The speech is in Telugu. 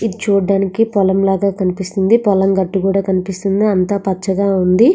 ఇది చూడ్డానికి పొలం లాగా కనిపిస్తుంది పొలం గట్టు కూడా కనిపిస్తుంది అంతా పచ్చగా ఉంది.